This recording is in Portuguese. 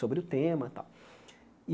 sobre o tema tal.